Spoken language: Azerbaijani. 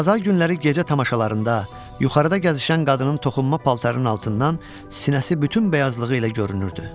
Bazar günləri gecə tamaşalarında yuxarıda gəzişən qadının toxunma paltarının altından sinəsi bütün bəyazlığı ilə görünürdü.